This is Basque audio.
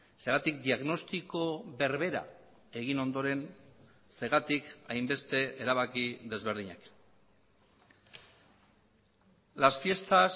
zergatik diagnostiko berbera egin ondoren zergatik hainbeste erabaki desberdinak las fiestas